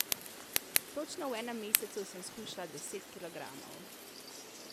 Točno v enem mesecu sem shujšala deset kilogramov.